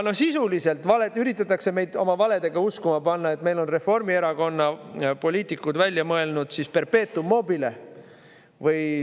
Sisuliselt üritatakse meid oma valedega uskuma panna, et meil on Reformierakonna poliitikud välja mõelnud perpetuum mobile.